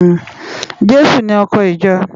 Jesu ni òkò ijò